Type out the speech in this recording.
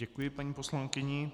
Děkuji paní poslankyni.